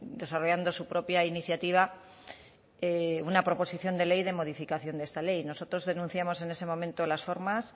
desarrollando su propia iniciativa una proposición de ley de modificación de esta ley nosotros denunciamos en ese momento las formas